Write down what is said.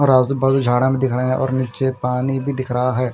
और आज़ू-बाज़ू झाड़ा में दिख रहे हैं और निच्चे पानी भी दिख रहा है।